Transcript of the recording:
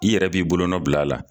I yɛrɛ b'i bolonɔ bila a la